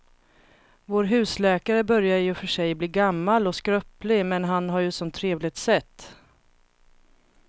Vår husläkare börjar i och för sig bli gammal och skröplig, men han har ju ett sådant trevligt sätt!